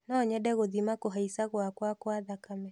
Nonyende gũthima kũhaica gwakwa gwa thakame.